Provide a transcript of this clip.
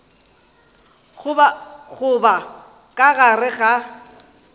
go ba ka gare ga